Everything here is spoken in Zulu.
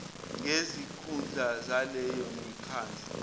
ngezikhundla zaleyo mikhandlu